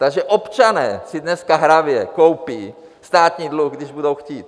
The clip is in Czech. Takže občané si dneska hravě koupí státní dluh, když budou chtít.